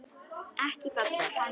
Ekki falleg.